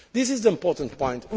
This is the important point.